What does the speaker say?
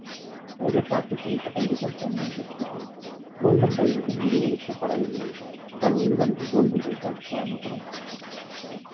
raider செய்யப்பட்டால் defence அணி வெற்றி பெறும் golden raider யும் முடிவெடுக்கப்படவில்லை வழங்கப்படும்